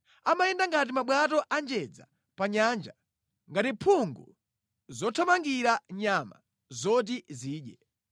Amayenda ngati mabwato a njedza pa nyanja, ngati mphungu zothamangira nyama zoti zidye.